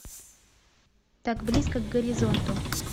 так близко к горизонту